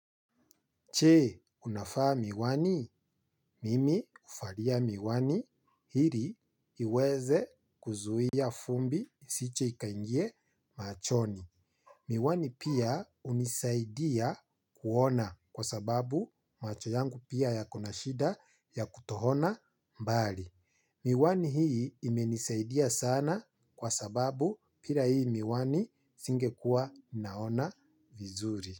Che, unafaa miwani, mimi ufalia miwani, hiri iweze kuzuhia fumbi, siche ikaingie machoni. Miwani pia unisaidia kuona kwa sababu macho yangu pia ya kuna shida ya kutohona mbali. Miwani hii imenisaidia sana kwa sababu pira hii miwani singekua naona vizuri.